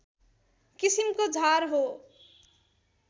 किसिमको झार हो